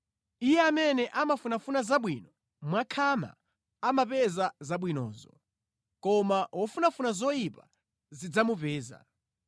Iye amene amafunafuna zabwino mwakhama amapeza zabwinozo, koma wofunafuna zoyipa zidzamupeza.